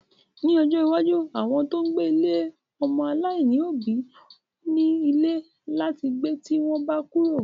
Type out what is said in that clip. Ní ojó iwájú, àwọn tó ń gbé ilé ọmọ-aláìní òbí ò ní ní ilé láti gbé tí wọ́n bá kúrò.